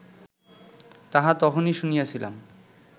তাহা তখনই শুনিয়াছিলাম